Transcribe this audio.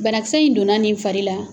Banakisɛ in donna nin fari la